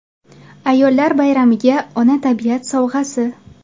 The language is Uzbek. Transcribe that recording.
Ayollar bayramiga Ona tabiat sovg‘asi.